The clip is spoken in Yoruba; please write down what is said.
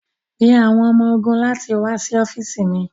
Pe awọn ọmọ-ogun lati wa si ọfiisi mi